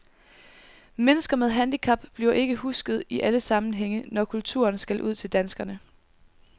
Mennesker med handicap bliver ikke husket i alle sammenhænge, når kulturen skal ud til danskerne.